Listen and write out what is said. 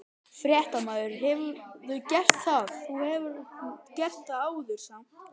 Fréttamaður: Hefurðu gert það, þú hefur gert það áður samt?